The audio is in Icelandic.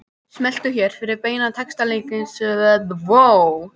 Smelltu hér fyrir beina textalýsingu frá Akranesi